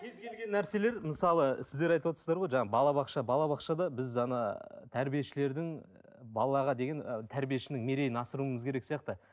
кез келген нәрселер мысалы сіздер айтып отырсыздар ғой жаңа балабақша балабақшада біз ана тәрбиешілердің балаға деген тәрбиешінің мерейін асыруымыз керек сияқты